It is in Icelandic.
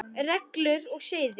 Reglur og siði